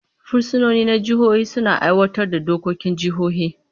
Fursunoni na jihohi suna aiwatar da dokokin jihohi.